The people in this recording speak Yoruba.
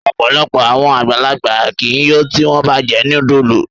Ọpọlọpọ awọn agbalagba ki i yo ti wọn ba jẹ nudulu